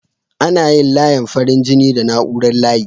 Ana yin layin farin jini da na'urar layi.